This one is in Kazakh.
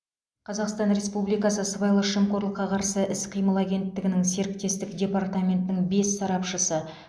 қазақстан республикасы сыбайлас жемқорлыққа қарсы іс қимыл агенттігінің серіктестік департаментінің бас сарапшысы